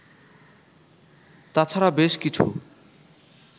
তাছাড়া বেশ কিছু